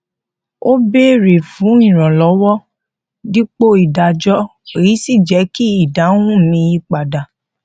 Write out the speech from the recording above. ó béèrè fún ìrànlọwọ dípò ìdájọ èyí sì jẹ kí ìdáhùn mi yí padà